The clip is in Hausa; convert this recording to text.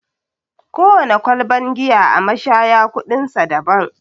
Kowana kwalban giya a mashaya kuɗin sa daban.